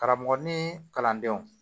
Karamɔgɔ ni kalandenw